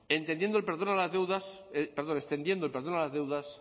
entendiendo el perdón a las deudas perdón extendiendo el perdón a las deudas